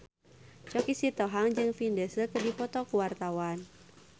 Choky Sitohang jeung Vin Diesel keur dipoto ku wartawan